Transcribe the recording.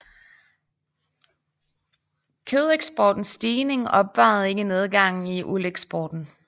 Kødeksportens stigning opvejede ikke nedgangen i uldeksporten